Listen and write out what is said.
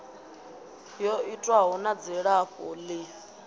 yo itwaho na dzilafho ḽi